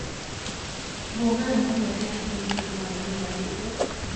Go wer mong'ere ahinya miluongo ni madilu